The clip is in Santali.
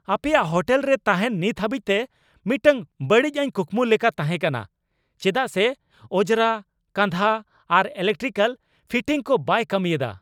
ᱟᱯᱮᱭᱟᱜ ᱦᱳᱴᱮᱞ ᱨᱮ ᱛᱟᱦᱮᱱ ᱱᱤᱛ ᱦᱟᱹᱵᱤᱡᱛᱮ ᱢᱤᱫᱴᱟᱝ ᱵᱟᱹᱲᱤᱚᱡ ᱠᱩᱠᱢᱩ ᱞᱮᱠᱟ ᱛᱟᱦᱮᱸᱠᱟᱱᱟ ᱪᱮᱫᱟᱜ ᱥᱮ ᱚᱡᱨᱟ ᱠᱟᱸᱫᱦᱟ ᱟᱨ ᱤᱞᱮᱠᱴᱨᱤᱠᱟᱞ ᱯᱷᱤᱴᱤᱝᱥ ᱠᱚ ᱵᱟᱭ ᱠᱟᱹᱢᱤᱭᱮᱫᱟ ᱾